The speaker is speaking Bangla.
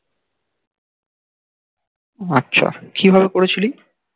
আচ্ছা কিভাবে করেছিলি?